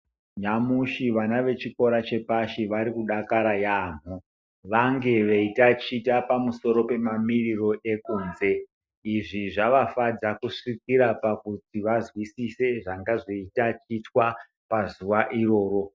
Nyamushi vana vechikora chepashi vari kudakara yamho vange veitaticha pamusoro pemamiriro ekunze izvi zvavafadza kusvikira pakuti vazwisise zvanga zveitatichwa pazuva iroro .